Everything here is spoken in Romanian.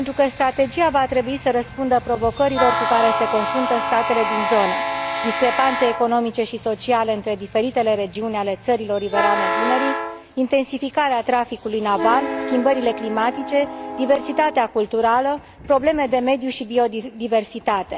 Strategia va trebui să răspundă provocărilor cu care se confruntă statele din zonă discrepanțele economice și sociale între diferitele regiuni ale țărilor riverane Dunării, intensificarea traficului naval, schimbările climatice, diversitatea culturală, problemele de mediu și biodiversitate.